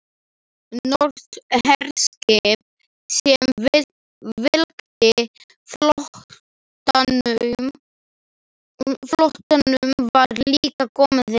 Norskt herskip sem fylgdi flotanum var líka komið inn.